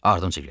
Ardımdan gəlin.